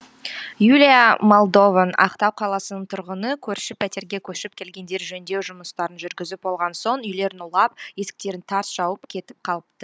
юлия молдован ақтау қаласының тұрғыны көрші пәтерге көшіп келгендер жөндеу жұмыстарын жүргізіп болған соң үйлерін улап есіктерін тарс жауып кетіп қалыпты